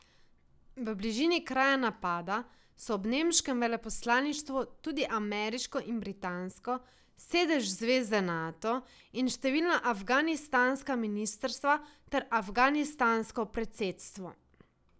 V bližini kraja napada so ob nemškem veleposlaništvu tudi ameriško in britansko, sedež zveze Nato in številna afganistanska ministrstva ter afganistansko predsedstvo.